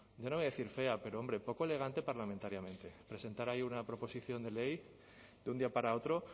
yo no voy a decir fea pero hombre poco elegante parlamentariamente presentar ahí una proposición de ley de un día para otro